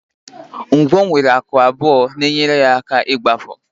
Ngwọ nwere nku abụọ na-enyere ha aka n'ịgbapụ